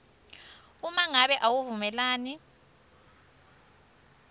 uma ngabe awuvumelani